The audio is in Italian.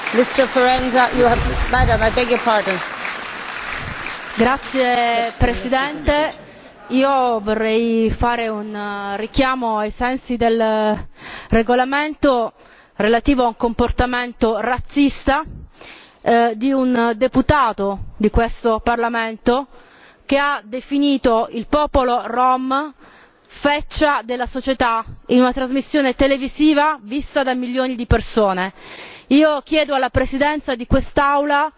Signora Presidente, onorevoli colleghi, io vorrei fare un richiamo ai sensi del regolamento relativo a un comportamento razzista di un deputato di questo Parlamento, che ha definito il popolo rom feccia della società in una trasmissione televisiva vista da milioni di persone.